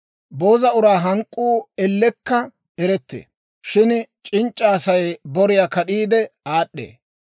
Booza uraa hank'k'uu ellekka erettee; shin c'inc'c'a Asay boriyaa kad'iide aad'd'ee.